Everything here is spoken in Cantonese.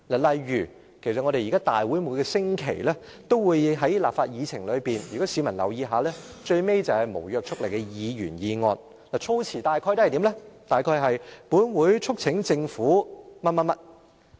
例如立法會每星期也在議程上——如果市民留意一下——最後便是無約束力的議員議案，議案措辭大約是："本會促請政府......